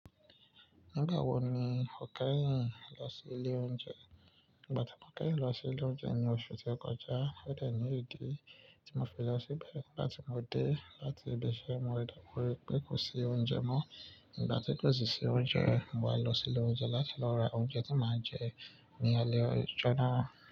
Nígbà wo ni o kẹ́yìn lọ sí ilé oúnjẹ? Ìgbà tí mo kẹ́yìn lọ sí ilé oúnjẹ ní oṣù tó kọjá, ó dẹ̀ ní ìdí tí mo fẹ́ lọ síbẹ̀ láti mo dé láti ibẹ̀ṣẹ̀ mo dá kọ wí pé kò sí oúnjẹ mọ́. Nígbà tí kò sì sí oúnjẹ, mo wá lọ sí ilé oúnjẹ láti lọ ra oúnjẹ tí màá jẹ ní alẹ́ ọjọ́ náà.